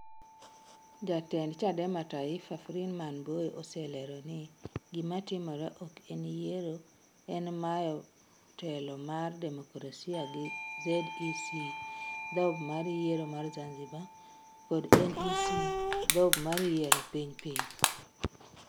Jatend Chadema Taifa, Freeman Mbowe oselero ni: "Gima timre ok en yiero, en mayo telo mar demokrasia gi ZEC (Dhob mar Yiero mar Zanzibar) kod NEC (Dhob mar Yiero Piny Piny).